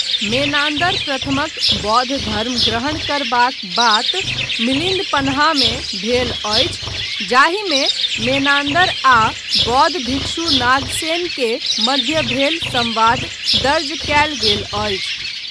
Menander प्रथमक बौद्ध धर्म ग्रहण करबाक बात मिलिन्द पन्हामे भेल अछि, जाहिमे मेनान्दर आ बौद्ध भिक्षु नागसेन के मध्य भेल संवाद दर्ज कयल गेल अछि।